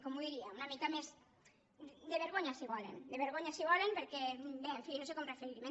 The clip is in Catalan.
com ho diria una mica més de vergonya si volen de vergonya si volen perquè bé en fi no sé com referirm’hi